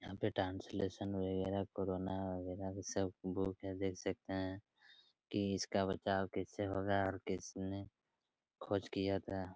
यहाँ पे ट्रांसलेशन वगेरा कोरोना वगेरा भी सब बुक हैं देख सकते हैं कि इसका बचाव किससे होगा और किसने खोज किया था।